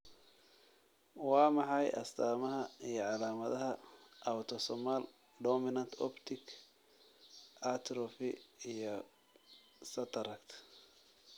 Waa maxay astamaha iyo calamadaha Autosomal dominant optic atrophy iyo cataract?